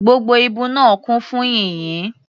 Gbogbo ibú náà kún fún yìnyín.